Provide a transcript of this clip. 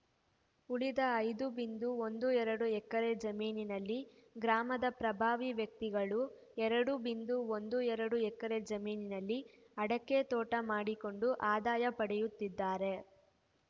ಉಳಿದ ಐದು ಬಿಂದು ಒಂದು ಎರಡು ಎಕರೆ ಜಮೀನಿನಲ್ಲಿ ಗ್ರಾಮದ ಪ್ರಭಾವಿ ವ್ಯಕ್ತಿಗಳು ಎರಡು ಬಿಂದು ಒಂದು ಎರಡು ಎಕರೆ ಜಮೀನಿನಲ್ಲಿ ಅಡಕೆ ತೋಟ ಮಾಡಿಕೊಂಡು ಆದಾಯ ಪಡೆಯುತ್ತಿದ್ದಾರೆ